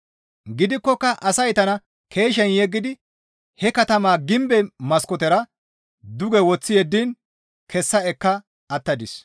Gidikkoka asay tana keeshen yeggidi he katamaa gimbe maskootera duge woththi yeddiin kessa ekka attadis.